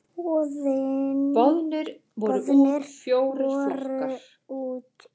Boðnir voru út fjórir flokkar.